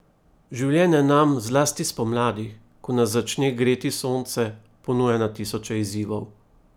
Življenje nam, zlasti spomladi, ko nas začne greti sonce, ponuja na tisoče izzivov.